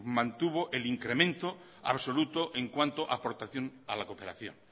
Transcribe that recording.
mantuvo el incremento absoluto en cuanto aportación a la cooperación